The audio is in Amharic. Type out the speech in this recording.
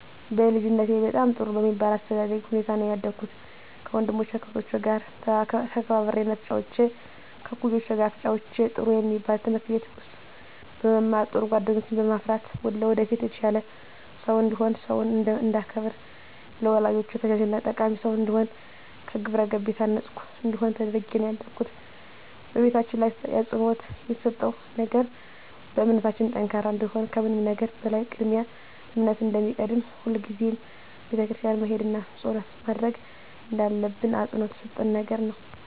በልጅነቴ በጣም ጥሩ በሚባል የአስተዳደግ ሁኔታ ነው ያደኩት ከወንድሞቸና ከእህቶቸ ጋር ተከባብሬና ተጫውቼ ከእኩዮቼ ጋር ተጫውቼ ጥሩ የሚባል ትምህርት ቤት ውስጥ በመማር ጥሩ ጓደኞችን በማፍራት ለወደፊት የተሻለ ሰው እንድሆን ሰውን እንዳከብር ለወላጆቼ ታዛዥና ጠቃሚ ሰው እንድሆን በግብረገብ የታነፅኩ እንድሆን ተደርጌ ነው ያደኩት በቤታችን ላይ አፅንዖት የተሰጠው ነገር በእምነታችን ጠንካራ እንድንሆን ከምንም ነገር በላይ ቅድሚያ እምነት እንደሚቀድም ሁልጊዜም ቤተክርስቲያን መሄድና ፀሎት ማድረግ እንዳለብን አፅንዖት የተሰጠን ነገር ነው።